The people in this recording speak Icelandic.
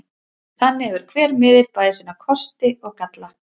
Þannig hefur hver miðill bæði sína kosti og galla.